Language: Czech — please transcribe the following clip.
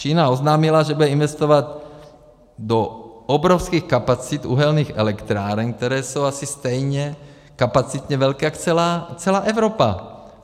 Čína oznámila, že bude investovat do obrovských kapacit uhelných elektráren, které jsou asi stejně kapacitně velké jak celá Evropa.